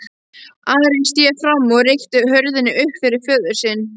Ari sté fram og rykkti hurðinni upp fyrir föður sinn.